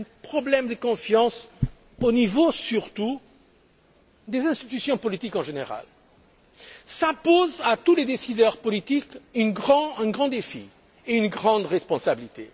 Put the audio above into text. Un problème de confiance au niveau surtout des institutions politiques en général. Cela impose à tous les décideurs politiques un grand défi et une grande responsabilité.